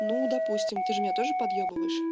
ну допустим ты же меня тоже подъёбываешь